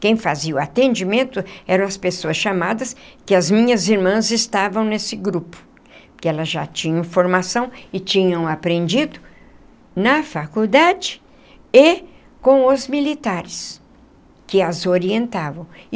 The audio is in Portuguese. Quem fazia o atendimento eram as pessoas chamadas que as minhas irmãs estavam nesse grupo, porque elas já tinham formação e tinham aprendido na faculdade e com os militares que as orientavam.